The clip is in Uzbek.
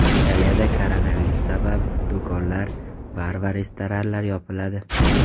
Italiyada koronavirus sabab do‘konlar, bar va restoranlar yopiladi .